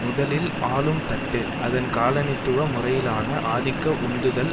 முதலில் ஆளும் தட்டு அதன் காலனித்துவ முறையிலான ஆதிக்க உந்துதல்